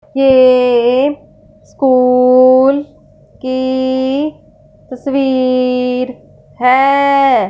ये कुल की तस्वीर है।